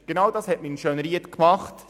Genau das hat man in Schönried gemacht.